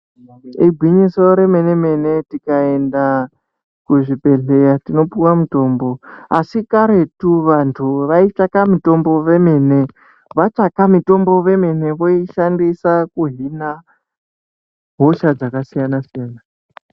Igwinyiso remene mene tikaenda kuzvibhedhlera tinopuwa mutombo asi karetu vantu vaitsvaka mitombo vemene vatsvaka mitomo vemene voishandisa kuhina hosha dzakasiyana siyana.